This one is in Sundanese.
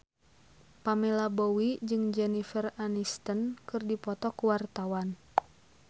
Pamela Bowie jeung Jennifer Aniston keur dipoto ku wartawan